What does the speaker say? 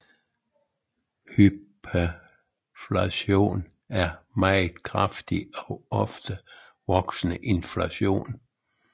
Hyperinflation er meget kraftig og ofte voksende inflation